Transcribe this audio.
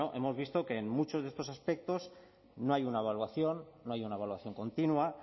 bueno hemos visto que en muchos de estos aspectos no hay una evaluación no hay una evaluación continua